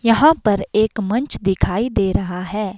यहां पर एक मंच दिखाई दे रहा है।